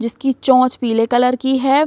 जिसकी चोंच पीले कलर की है।